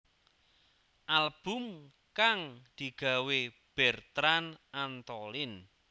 Album kang digawé Bertrand Antolin